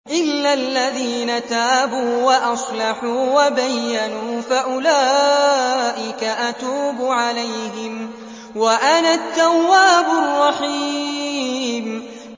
إِلَّا الَّذِينَ تَابُوا وَأَصْلَحُوا وَبَيَّنُوا فَأُولَٰئِكَ أَتُوبُ عَلَيْهِمْ ۚ وَأَنَا التَّوَّابُ الرَّحِيمُ